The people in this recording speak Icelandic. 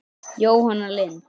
Jóhanna Lind.